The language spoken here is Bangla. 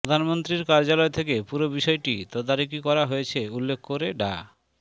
প্রধানমন্ত্রীর কার্যালয় থেকে পুরো বিষয়টি তদারকি করা হয়েছে উল্লেখ করে ডা